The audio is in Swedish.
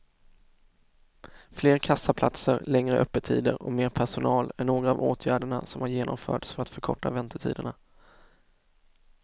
Fler kassaplatser, längre öppettider och mer personal är några av åtgärderna som har genomförts för att förkorta väntetiderna.